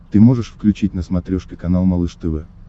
ты можешь включить на смотрешке канал малыш тв